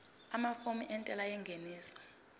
amafomu entela yengeniso